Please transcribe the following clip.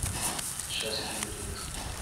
сейчас кину денежку